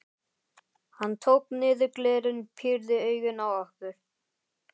Hann tók niður glerin, pírði augun á okkur.